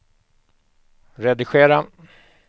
redigera